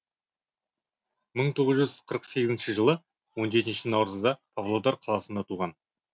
мың тоғыз жүз қырық сегізінші жылы он жетінші наурызда павлодар қаласында туған